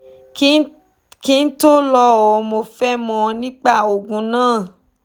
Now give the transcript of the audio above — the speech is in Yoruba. kí n tó lò ó mo fẹ́ mọ̀ nípa òògùn náà